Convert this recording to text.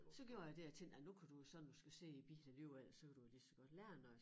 Så gjorde jeg det jeg tænkte ej nu kan jo så når du skal sidde i æ bil alligevel så kan du jo lige så godt lære noget